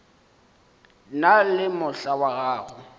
na le mohla wa go